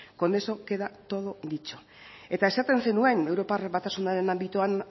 con eso queda todo dicho eta esaten zenuen europar batasunaren anbitoan